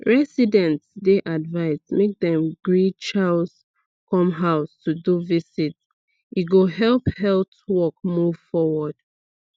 residents dey advised make dem gree chws come house to do visit e go help health work move forward